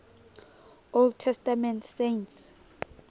old testament saints